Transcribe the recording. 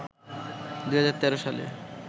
২০১৩ সালে